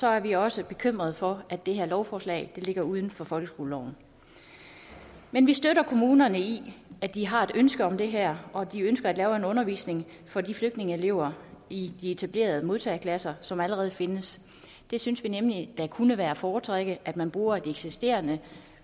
er vi også bekymrede for at det her lovforslag ligger uden for folkeskoleloven men vi støtter kommunerne i at de har et ønske om det her og at de ønsker at lave en undervisning for de flygtningeelever i de etablerede modtageklasser som allerede findes vi synes nemlig det kunne være at foretrække at man bruger de eksisterende